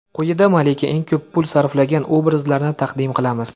Quyida malika eng ko‘p pul sarflagan obrazlarini taqdim qilamiz.